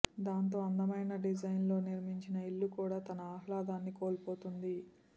దాంతో అందమైన డిజైన్తో నిర్మించిన ఇల్లు కూడా తన ఆహ్లాదాన్ని కోల్పోతుంది